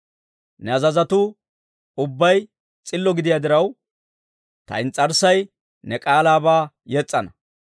Ne azazotuu ubbay s'illo gidiyaa diraw, ta ins's'arssay ne k'aalaabaa yes's'ana.